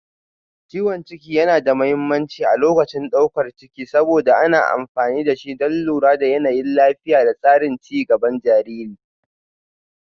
Ciwon ciki yana da mahimmanci a lokacin daukar ciki saboda ana amfani da shi don lura da yanayin lafiya da tsarin ci gaban jariri